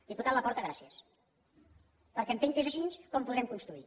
diputat laporta gràcies perquè entenc que és així com podrem construir